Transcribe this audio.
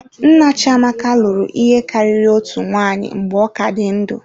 Nna Chiamaka lụrụ ihe karịrị otu nwunye mgbe ọ dị ndụ.